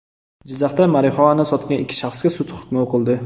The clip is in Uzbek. Jizzaxda marixuana sotgan ikki shaxsga sud hukmi o‘qildi.